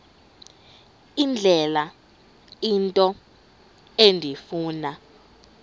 indlela into endifuna